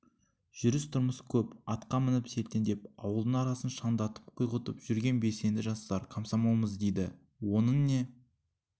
жүріс-тұрыс көп атқа мініп селтеңдеп ауылдың арасын шаңдатып құйғытып жүрген белсенді жастар комсомолмыз дейді оның не